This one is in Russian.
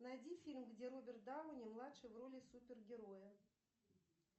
найди фильм где роберт дауни младший в роли супер героя